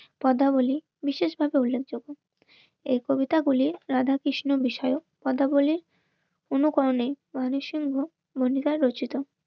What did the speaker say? পদ্মাবলী বিশেষভাবে উল্লেখযোগ্য. এই কবিতাগুলি রাধাকৃষ্ণ বিষয়ক কথা বলে কোন কারণে শুনবো অঙ্গীকার রচিত